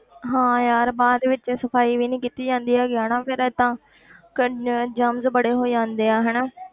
ਹਾਂ ਯਾਰ ਬਾਅਦ ਵਿੱਚ ਸਫ਼ਾਈ ਵੀ ਨੀ ਕੀਤੀ ਜਾਂਦੀ ਹੈਗੀ ਹਨਾ ਫਿਰ ਏਦਾਂ ਕਿੰਨੇ germs ਬੜੇ ਹੋ ਜਾਂਦੇ ਆ ਹਨਾ